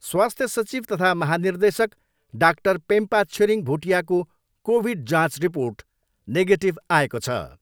स्वास्थ्य सचिव तथा महानिर्देशक डाक्टर पेम्पा छिरिङ भुटियाको कोभिड जाँच रिपोर्ट नेगेटिभ आएको छ।